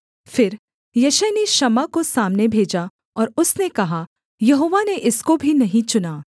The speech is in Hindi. फिर यिशै ने शम्मा को सामने भेजा और उसने कहा यहोवा ने इसको भी नहीं चुना